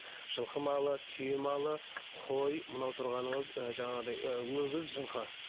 жылқы малы түйе малы қой мынау тұрғаныңыз ы жаңағыдай ы өгіз жылқы